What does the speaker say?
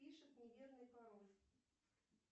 пишет неверный пароль